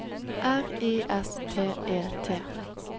R I S T E T